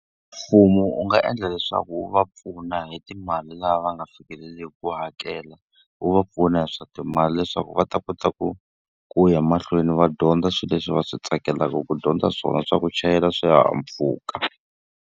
Mfumo wu nga endla leswaku wu va pfuna hi timali laha va nga fikeleliki ku hakela. Wu va pfuna hi swa timali leswaku va ta kota ku ku ya mahlweni va dyondza swilo leswi va swi tsakelaka ku dyondza swona, swa ku chayela swihahampfhuka.